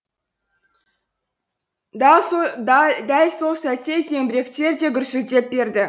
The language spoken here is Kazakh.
дәл сол сәтте зеңбіректер де гүрсілдеп берді